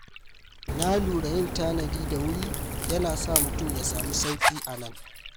Na lura yin tanadi da wuri yana sa mutum ya samu sauƙi a nan.